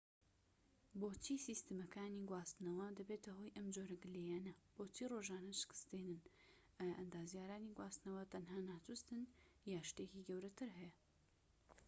بۆچی سیستەمەکانی گواستنەوە دەبێتە هۆی ئەم جۆرە گلەییانە بۆچی ڕۆژانە شکست دێنن ئایا ئەندازیارانی گواستنەوە تەنها ناچووستن یان شتێکی گەورەتر هەیە